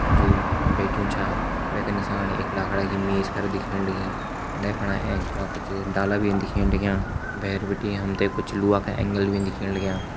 जु बैठ्युं छा वैका नीसाण एक लाखड़ा की मेज कर दिखेण लगीं उंडे फणा एंच फणा कुछ डाला भीन दिखेण लग्यां भैर बिटि हम ते कुछ लोहा का एंगल भीन दिखेण लग्यां।